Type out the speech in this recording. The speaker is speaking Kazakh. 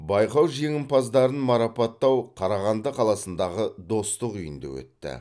байқау жеңімпаздарын марапаттау қарағанды қаласындағы достық үйінде өтті